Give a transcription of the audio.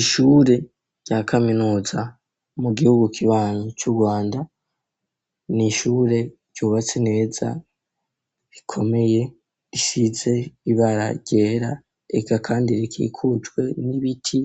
Ishure rya kaminuza mu gihugu kibanyi cu rwanda n'ishure ryubatse neza bikomeye risize ibara ryera eka kandi rikikujwe n'ibiti